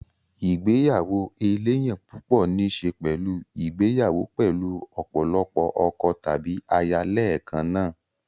igbeyawo eleyan pupo ní í ṣe pẹ̀lú ìgbéyàwó pẹ̀lú ọ̀pọ̀lọpọ̀ ọkọ tàbí aya lẹ́ẹ̀kan náà.